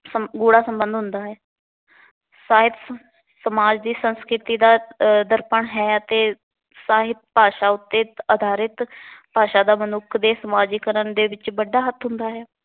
ਗੂੜਾ ਸੰਬੰਧ ਹੁੰਦਾ ਹੈ। ਸਾਹਿਤ ਸਮਾਜ ਦੀ ਸੰਸਕ੍ਰਿਤੀ ਦਾ ਆਹ ਦਰਪਣ ਹੈ ਅਤੇ ਸਾਹਿਤ ਭਾਸ਼ਾ ਉਤੇ ਅਧਾਰਿਤ ਭਾਸ਼ਾ ਦਾ ਮਨੁੱਖ ਦੇ ਸਮਾਜੀਕਰਨ ਦੇ ਵਿੱਚ ਵੱਡਾ ਹੱਥ ਹੁੰਦਾ ਹੈ।